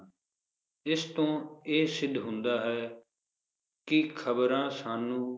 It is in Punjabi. ਇਸ ਤੋਂ ਇਹ ਸਿੱਧ ਹੁੰਦਾ ਹੈ ਕਿ ਖਬਰਾਂ ਸਾਨੂੰ